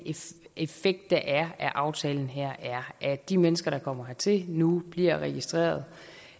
effekt der er af aftalen her er at de mennesker der kommer hertil nu bliver registreret